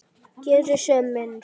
Geri sem minnst.